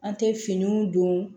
An tɛ finiw don